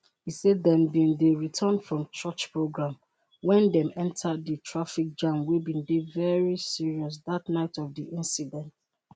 e say dem bin dey return from church programme wen dem enta di traffic jam wey bin dey very serious dat night of di incident.